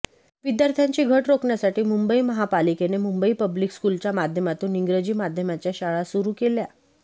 विद्यार्थ्यांची घट रोखण्यााठी मुंबई महापालिकेने मुंबई पब्लिक स्कूलच्या माध्यमातून इंग्रजी माध्यमांच्या शाळा सुरू केल्या